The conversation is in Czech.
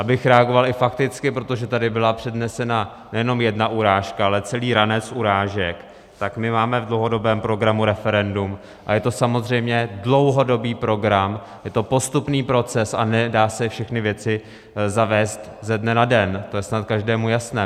Abych reagoval i fakticky, protože tady byla přednesena nejenom jedna urážka, ale celý ranec urážek, tak my máme v dlouhodobém programu referendum a je to samozřejmě dlouhodobý program, je to postupný proces, a nedá se všechny věci zavést ze dne na den, to je snad každému jasné.